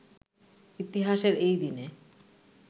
ইতিহাসের এই দিনে